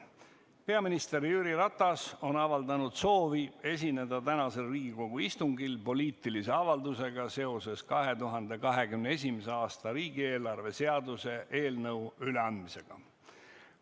Peaminister Jüri Ratas on avaldanud soovi esineda tänasel Riigikogu istungil poliitilise avaldusega seoses 2021. aasta riigieelarve seaduse eelnõu üleandmisega.